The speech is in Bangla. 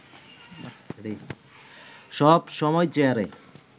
সব সময় চেয়ারে